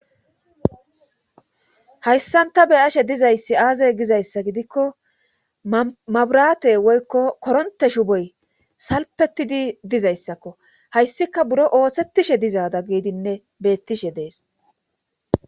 hayssanta be ashe dizayssi aazey gizayssa gidikko maburate woykko koronte shu boy salpetidi dizayssakko hayssika buro oosettishe dizaada giidinne beettishe dees